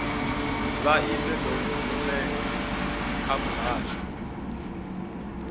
vha ise dokhumenthe kha muhasho